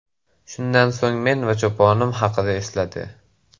Shundan so‘ng men va choponim haqida esladi.